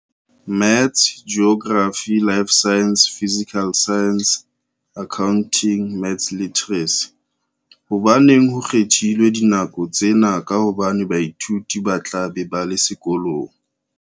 Maths Geography Life Sciences Physical Sciences Accounting Maths Literacy. Hobaneng ho kgethilwe dinako tsena ka hobane baithuti ba tla be ba le sekolong?